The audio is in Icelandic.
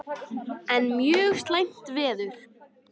Enn mjög slæmt veður